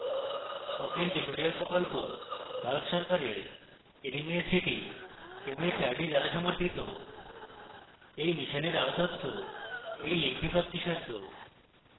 spoken tutorial প্রকল্প ভারত সরকারের nmeict mhrd দ্বারা সমর্থিত এই মিশনের আরো তথ্য এই লিঙ্কে প্রাপ্তিসাদ্ধ